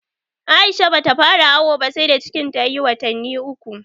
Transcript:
Aisha ba ta fara awo ba sai da cikin ta ya yi watannu uku